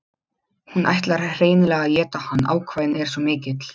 Hún ætlar hreinlega að éta hann, ákafinn er svo mikill.